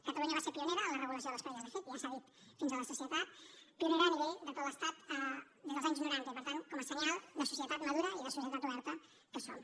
catalunya va ser pionera en la regulació de les parelles de fet ja s’ha dit fins a la sacietat pionera a nivell de tot l’estat des dels anys noranta i per tant com a senyal de societat madura i de societat oberta que som